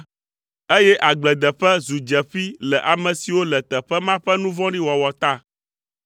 eye agbledeƒe zu dzeƒi le ame siwo le teƒe ma ƒe nu vɔ̃ɖi wɔwɔ ta.